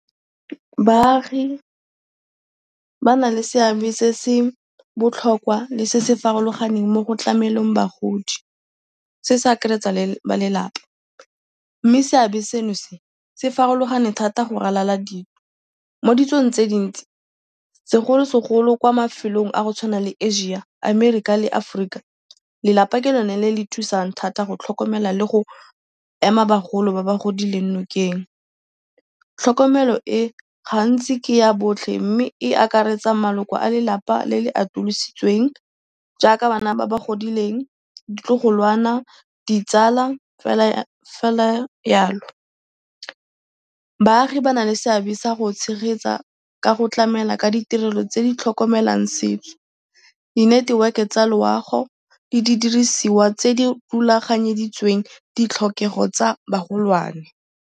Baagi ba na le seabe se se botlhokwa le se se farologaneng mo go tlameleng bagodi. Se se akaretsa le balelapa mme seabe seno se, se farologane thata go ralala ditso. Mo ditsong tse dintsi segolosegolo kwa mafelong a go tshwana le Asia, Amerika le Aforika. Lelapa ke lone le le thusang thata go tlhokomela le go ema bagolo ba ba godileng nokeng. Tlhokomelo e gantsi ke ya botlhe mme e akaretsa maloko a lelapa le le atolositsweng jaaka bana ba ba godileng, ditlogolwana, ditsala fela jalo. Baagi ba na le seabe sa go tshegetsa ka go tlamela ka ditirelo tse di tlhokomelang setso, di-network-e tsa loago, le didirisiwa tse di rulaganyeditsweng ditlhokego tsa bagolwane.